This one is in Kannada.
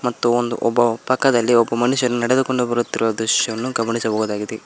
ಮತ್ತು ಒಂದು ಒಬ್ಬ ಪಕ್ಕದಲ್ಲಿ ಒಬ್ಬ ಮನುಷ್ಯನು ನೆಡೆದುಕೊಂಡು ಬರುತ್ತಿರುವ ದೃಶ್ಯವನ್ನು ಗಮನಿಸಬಹುದಾಗಿದೆ.